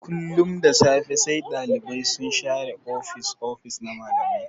Kullun da safe sai Ɗalibai sun share ofis-ofis na malamai.